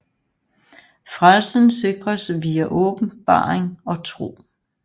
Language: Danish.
Frelsen sikres via åbenbaring og tro